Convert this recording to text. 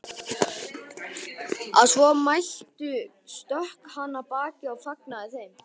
Að svo mæltu stökk hann af baki og fagnaði þeim.